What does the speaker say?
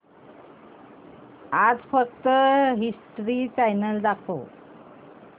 आज फक्त history channel दाखव